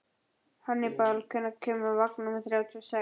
Hannibal, hvenær kemur vagn númer þrjátíu og sex?